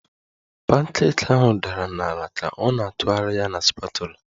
Pancake ahụ dara n'ala ka ọ na-atụgharị ya na spatula